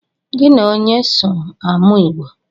Gi na onye so amụ Igbo?